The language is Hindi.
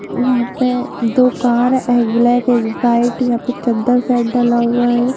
यहां पर दो कार एक ब्लैक एक व्हाइट एक चद्दर का डाला हुआ है।